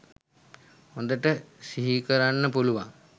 හොඳට සිහිකරන්න පුළුවන්